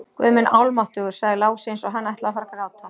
Guð minn almáttugur, sagði Lási eins og hann ætlaði að fara að gráta.